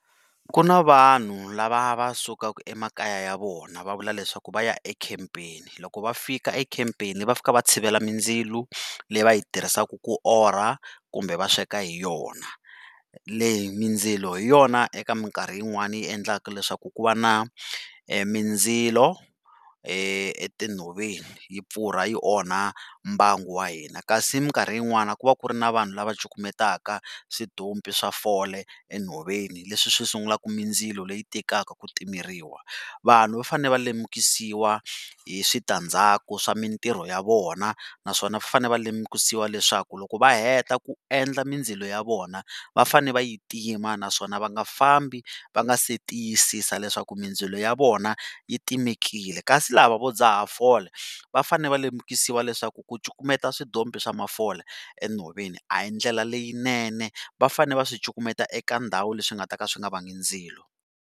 Ku na vanhu lava va sukaka emakaya ya vona va vula leswaku va ya ekhempeni loko va fika ekhemapeni va fika va tshivela mindzilo leyi va yi tirhisiaka ku orha kumbe va sweka hi yona, leyi mindzilo hi yona eka mikarhi yin'wana yi endlaka leswaku ku va na mindzilo etinhoveni yi pfurha yi onha mbango wa hina kasi mikarhi yin'wani ku va ku ri na vanhu lava cukumetaka switompi swa fole enhoveni leswi swi sungulaka mindzilo leyi tikaka ku timeriwa. Vanhu va fane va lemukisiwa hi switandzhaku swa mitirho ya vona naswona va fane va lemukisiwa leswaku loko va heta ku endla mindzilo ya vona va fane va yi tima naswona va nga fambi va nga si tiyisisa leswaku mindzilo ya vona yi timekile kasi lava vo dzaha fole va fane va lemukisiwa leswaku ku cukumeta switompi swa mafole enhoveni a hi ndlela leyinene va fane va swi cukumeta eka ndhawu leswi nga ta ka swi nga vangi ndzilo.